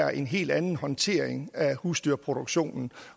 er en helt anden håndtering af husdyrproduktionen